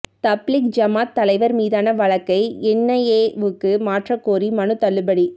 தப்லீக் ஜமாத் தலைவா் மீதான வழக்கை என்ஐஏவுக்கு மாற்றக் கோரிய மனு தள்ளுபடி